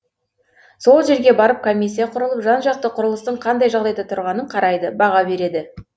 сол жерге барып комиссия құрылып жан жақты құрылыстың қандай жағдайда тұрғанын қарайды баға береді